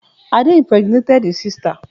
Ade impregnated his sister